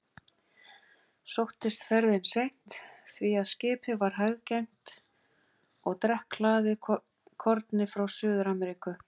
Sóttist ferðin seint, því að skipið var hæggengt og drekkhlaðið korni frá Suður-Ameríku.